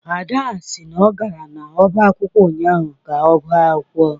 Ada sị na ọ gara n'ọba akwụkwọ ụnyahụ ka ọ gụọ akwụkwọ